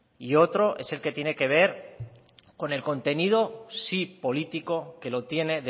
y otro es el que tiene que ver con el contenido sí político que lo tiene